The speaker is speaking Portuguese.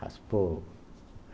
Raspou.